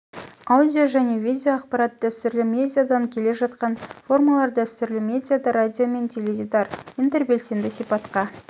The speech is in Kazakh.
аудио және видео ақпарат дәстүрлі медиадан келе жатқан формалар дәстүрлі медиада радио мен теледидар интербелсенді сипатқа